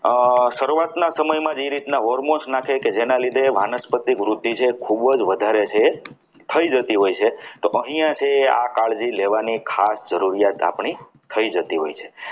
શરૂઆતના સમયમાં જે રીતે hormones નાખે કે જેના લીધે વારા વાનસ્પતિક વૃદ્ધિ જે છે એ વધારે છે થઈ જતી હોય છે તો અહીંયા થી આ કાળજી લેવાની ખાસ જરૂરિયાત આપણી થઈ જતી હોય છે.